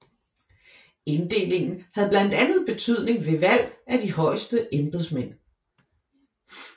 Inddelingen havde blandt andet betydning ved valg af de højeste embedsmænd